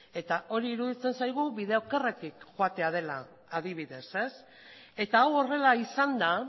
eta hori iruditzen zaigu bide okerretik joatea dela adibidez eta hau horrela izan da